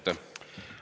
Aitäh!